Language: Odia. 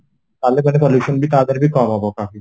ତାହାଲେ ସେଟା pollution ତା ଧୀରେ ବି କମ ହବ